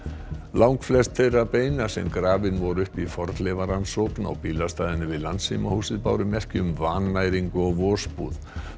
langflest þeirra beina sem grafin voru upp í fornleifarannsókn á bílastæðinu við báru merki um vannæringu og vosbúð